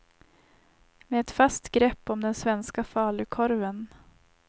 Med ett fast grepp om den svenska falukorven.